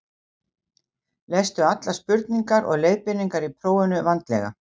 lestu allar spurningar og leiðbeiningar í prófinu vandlega